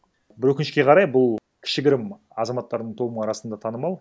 бір өкінішке қарай бұл кішігірім азаматтардың тобы арасында танымал